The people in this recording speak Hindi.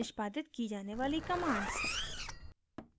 निष्पादित की जाने वाली commands